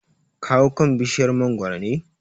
Ka hau kan bishiyar mangoro ne?